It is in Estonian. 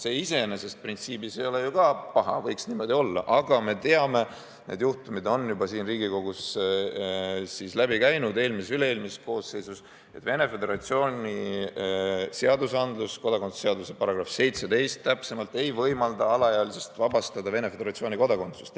See iseenesest printsiibis ei ole ju ka paha, võiks niimoodi olla, aga me teame – need juhtumid on juba siit Riigikogust läbi käinud eelmises ja üle-eelmises koosseisus –, et Venemaa Föderatsiooni seadus, kodakondsuse seaduse § 17 täpsemalt, ei võimalda alaealist vabastada Venemaa Föderatsiooni kodakondsusest.